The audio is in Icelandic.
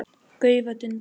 gaufa, dunda.